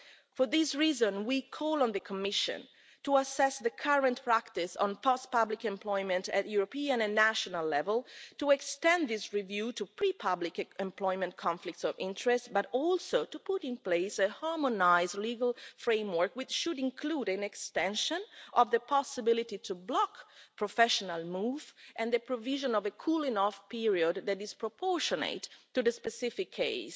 For this reason, we call on the Commission to assess the current practice on post-public employment at European and national level, to extend this review to pre public employment conflicts of interest, and also to put in place a harmonised legal framework, which should include an extension of the possibility to block professional moves and the provision of a cooling-off period that is proportionate to the specific case